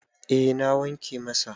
eh na wanke masa